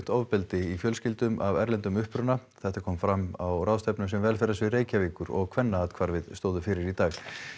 ofbeldi í fjölskyldum af erlendum uppruna þetta kom fram á ráðstefnu sem velferðarsvið Reykjavíkur og Kvennaathvarfið stóðu fyrir í dag